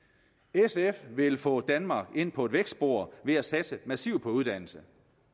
sf vil få danmark ind på et vækstspor ved at satse massivt på uddannelse